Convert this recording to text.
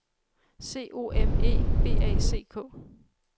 C O M E B A C K